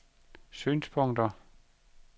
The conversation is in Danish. synspunkter